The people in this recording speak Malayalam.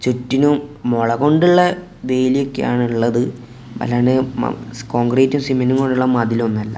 ചുറ്റിനും മുളകൊണ്ടുള്ള വേലിയൊക്കെ ആണുള്ളത് അല്ലാണ്ട് മ കോൺക്രീറ്റും സിമൻ്റും കൊണ്ടുള്ള മതിലൊന്നും അല്ല.